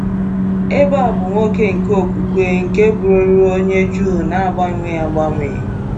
Ebe a bụ nwoke nke okwukwe nke bụrụworị onye Jụ na-agbanwe agbanwe.